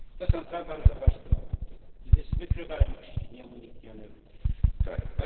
To są dwa bardzo ważne momenty wykrywalność i nieuniknione kary.